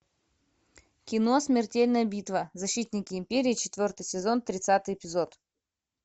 кино смертельная битва защитники империи четвертый сезон тридцатый эпизод